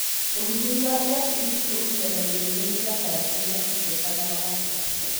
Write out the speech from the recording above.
ũgitĩri wa irabu ici ũkinyanagĩrio nĩ njakara cĩĩna icoka na thaka.